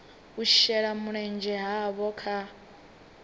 u shela mulenzhe havho kha